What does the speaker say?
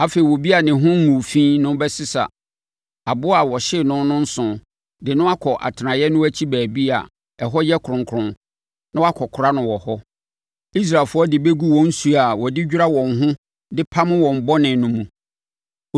“Afei, obi a ne ho nguu fi no bɛsesa aboa a wɔhyee no no nsõ de akɔ atenaeɛ no akyi baabi a ɛhɔ yɛ kronkron na wakɔkora no wɔ hɔ. Israelfoɔ no de bɛgu wɔn nsuo a wɔde dwira wɔn ho de pam wɔn bɔne no mu.